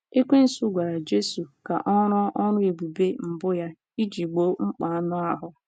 Ekwensu gwara Jesu ka ọ rụọ ọrụ ebube mbụ ya iji gboo mkpa anụ ahụ́.